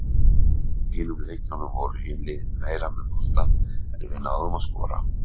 Í hinum leikjunum voru hin liðin meira með boltann en við náðum að skora.